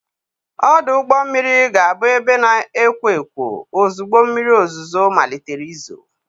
Ọdụ ụgbọ mmiri ga-abụ ebe na-ekwo ekwo ozugbo mmiri ozuzo malitere izo.